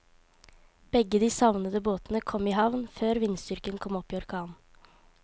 Begge de savnede båtene kom i havn før vindstyrken kom opp i orkan.